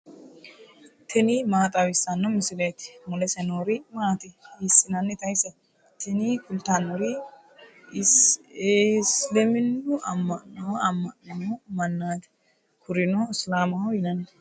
tini maa xawissanno misileeti ? mulese noori maati ? hiissinannite ise ? tini kultannori isiliminnu amma'no ammanino mannaati kurino isilaamaho yinanni.